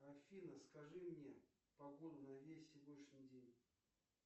афина скажи мне погоду на весь сегодняшний день